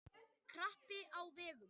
Krapi á vegum